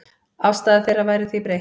Afstaða þeirra væri því breytt.